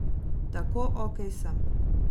Tako okej sem.